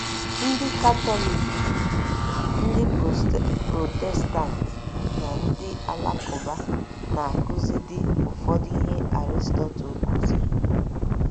Ndị Katọlik, ndị Protestant na ndị Alakụba na - akụzidị ụfọdụ ihe Aristotle kụziri.